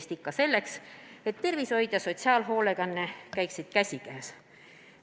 Seda ikka selleks, et tervishoid ja sotsiaalhoolekanne käiksid käsikäes.